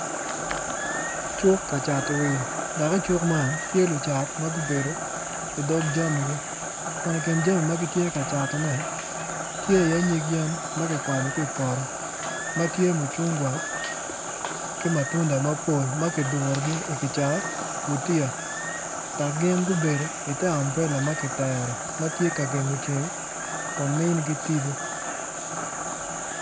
Cuk kacat wil dok i cuk man tye lucat magubedo idog jamigi kun i kin jami magitye ka catone tye i ye nyig yen magukwanyo ki poto matye mucungwa ki matunda mapol makidurogi i gicaka i gutiya dok gin gubedo i ter ambrela makiketo matye ka gengo ceng kun minigi tipo.